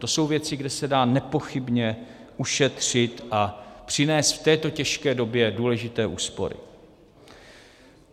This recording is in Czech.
To jsou věci, kde se dá nepochybně ušetřit a přinést v této těžké době důležité úspory.